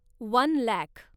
one lakh